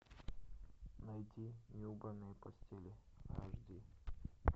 найди неубранные постели аш ди